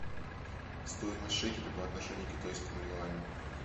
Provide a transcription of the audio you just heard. стоимость шекеля по отношению к китайскому юаню